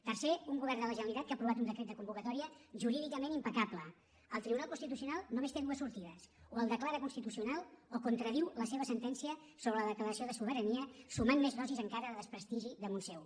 tercer un govern de la generalitat que ha aprovat un decret de convocatòria jurídicament impecable el tribunal constitucional només té dues sortides o el declara constitucional o contradiu la seva sentència sobre la declaració de sobirania i suma més dosis encara de desprestigi damunt seu